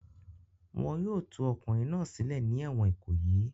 Wọn yóò tú ọkùnrin náà sílẹ̀ ní ẹ̀wọ̀n Ìkòyí!